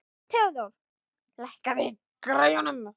Theódór, lækkaðu í græjunum.